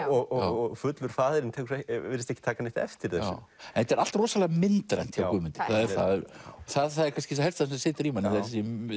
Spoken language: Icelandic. og fullur faðirinn virðist ekki taka neitt eftir þessu þetta er allt rosalega myndrænt hjá Guðmundi já það er það það er kannski það helsta sem situr í manni það eru